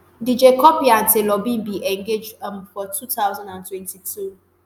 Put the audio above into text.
dj cuppy and taylor bin engage um for two thousand and twenty-two